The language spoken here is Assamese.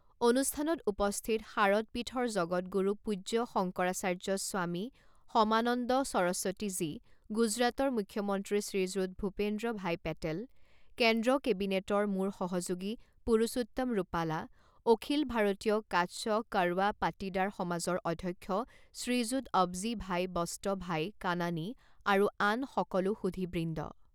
অনুষ্ঠানত উপস্থিত শাৰদপীঠৰ জগদগুৰু পূজ্য শংকৰাচাৰ্য স্বামী সমানন্দ সৰস্বতী জী, গুজৰাটৰ মুখ্যমন্ত্ৰী শ্ৰীযুত ভূপেন্দ্ৰ ভাই পেটেল, কেন্দ্ৰ কেবিনেটৰ মোৰ সহযোগী পুৰুষোত্তম ৰূপালা, অখিল ভাৰতীয় কাচ্ছ কড়ৱা পাটিদাৰ সমাজৰ অধ্যক্ষ শ্ৰীযুত অৱজী ভাই বস্ত ভাই কানানী, আৰু আন সকলো সুধীবৃন্দ!